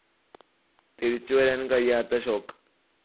തിരിച്ചു വരാൻ കഴിയാത്ത ഷോക്ക്.